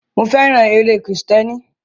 Mo fẹ́ràn eré kírísítẹ́nì.